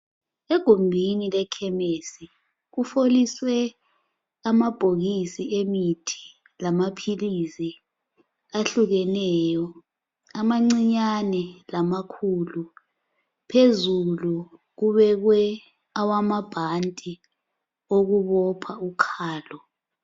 Egumbini lekhemisi kufoliswe amabhokisi emithi lamaphilizi ahlukeneyo, amancinyane lamakhulu. Phezulu kubekwe awamabhanti okubopha ukhalo.